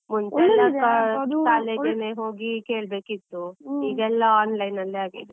ಹೋಗಿ ಕೇಳ್ಬೇಕಿತ್ತು, ಈಗೆಲ್ಲ online ಅಲ್ಲೇ ಆಗಿದೆ.